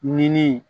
Ninni